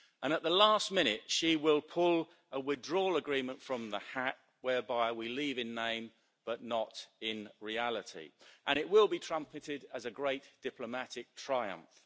At the last minute she will pull a withdrawal agreement from the hat whereby we leave in name, but not in reality, and it will be trumpeted as a great diplomatic triumph.